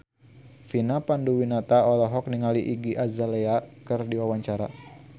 Vina Panduwinata olohok ningali Iggy Azalea keur diwawancara